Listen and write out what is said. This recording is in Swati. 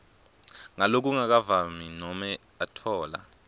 ngalokungakavami nobe atfola